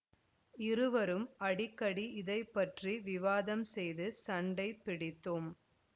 இருவரும் அடிக்கடி இதை பற்றி விவாதம் செய்து சண்டை பிடித்தோம்